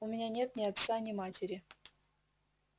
у меня нет ни отца ни матери